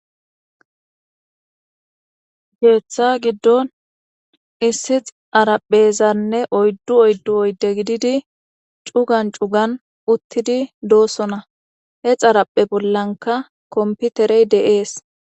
geeththa giddon issix araphezanne oyddu oyddu oydde gididi cugan cugan uttidi doosona he xaraphe bollanka komputerey deees